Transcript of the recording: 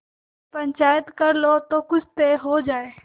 पंचायत कर लो जो कुछ तय हो जाय